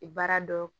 Baara dɔ